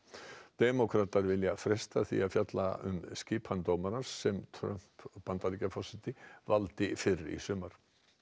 demókratar vilja fresta því að fjalla um skipun dómarans sem Trump Bandaríkjaforseti valdi fyrr í sumar